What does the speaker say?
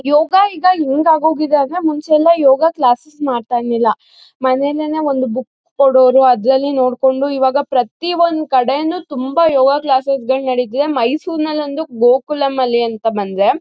ಯೋಗ ಈಗ ಹೆಂಗಾಗೋಗಿದೆ ಅಂದ್ರೆ ಮುಂಚೆ ಎಲ್ಲಾ ಯೋಗ ಕ್ಲಾಸೆಸ್ ಮಾಡ್ತಾ ಇರ್ಲಿಲ್ಲ ಮನೇಲೇನೆ ಒಂದು ಬುಕ್ ಕೊಡೋರು ಅದ್ರಲ್ಲಿ ನೋಡ್ಕೊಂಡು ಈವಾಗ ಪ್ರತಿಯೊಂದು ಕಡೆನೂ ತುಂಬಾ ಯೋಗ ಕ್ಲಾಸೆಸ್ ಗಳು ನಡೀತದೆ ಮೈಸೂರ್ ಅಲ್ಲಿ ಬಂದು ಗೋಕುಲಂ ಅಲ್ಲಿ ಅಂತ ಬಂದ್ರೆ--